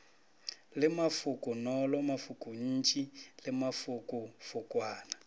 le mafokonolo mafokontši le mafokofokwana